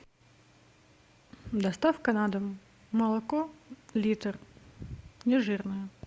доставка на дом молоко литр нежирное